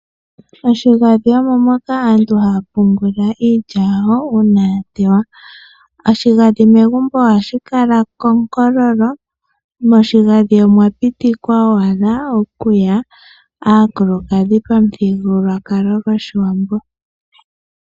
Oshigandhi omo moka aantu haya pungula iilya yawo uuna ya teywa. Oshigandhi megumbo oha shi kala konkololo. Moshigandhi omwa pitikwa owala okuya aakulukadhi pomuthigululwakalo gOshiwambo.